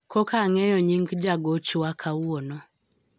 koka ang'eyo nying jagochwa kawuono